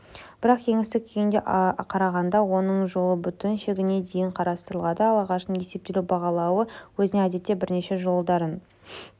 бірақ кеңістік күйіне қарағанда оның жолы бүтін шегіне дейін қарастырылады ал ағаштың есептелу бағалауы өзіне әдетте бірнеше жолдарын